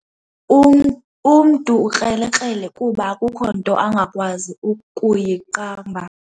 Umntu ukrelekrele kuba akukho nto angakwazi ukuyiqamba.